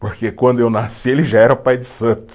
Porque quando eu nasci, ele já era pai de santo.